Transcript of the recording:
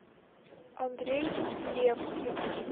андрей левкин